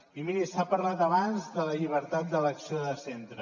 i miri s’ha parlat abans de la llibertat d’elecció de centre